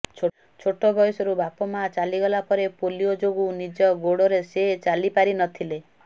ଛୋଟ ବୟସରୁ ବାପା ମା ଚାଲିଗଲା ପରେ ପୋଲିଓ ଯୋଗୁଁ ନିଜ ଗୋଡରେ ସେ ଚାଲି ପାରି ନଥିଲେ